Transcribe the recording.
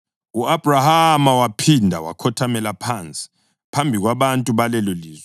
U-Abhrahama waphinda wakhothamela phansi phambi kwabantu balelolizwe